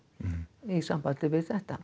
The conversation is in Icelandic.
í sambandi við þetta